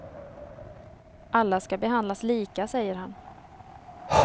Alla ska behandlas lika, säger han.